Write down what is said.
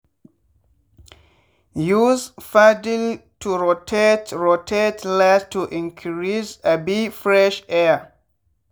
use paddle to rotate rotate large to increase um fresh air.